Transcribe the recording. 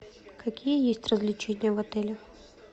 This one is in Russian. какие есть развлечения в отеле